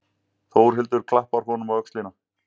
Þórhildur klappar honum á öxlina.